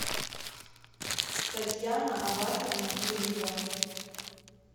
татьяна абасовна гурьева